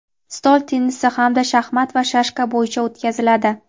stol tennisi hamda shaxmat va shashka bo‘yicha o‘tkaziladi.